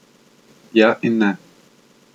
Ja in ne.